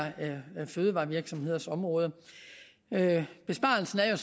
fødevarevirksomheders område besparelsen er